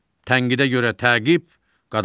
Tənqidə görə təqib qadağandır.